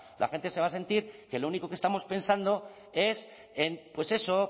la gente se va a sentir que lo único que estamos pensando es en pues eso